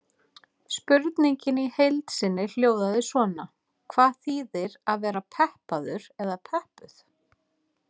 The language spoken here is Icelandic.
Spurningin í heild sinni hljóðaði svona: Hvað þýðir að vera peppaður eða peppuð?